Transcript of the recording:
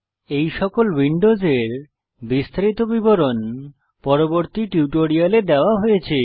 এই সকল উইন্ডোসের বিস্তারিত বিবরণ পরবর্তী টিউটোরিয়ালে দেওয়া হয়েছে